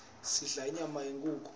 sidla inyama yenkhukhu